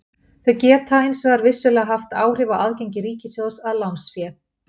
Þau geta hins vegar vissulega haft áhrif á aðgengi ríkissjóðs að lánsfé.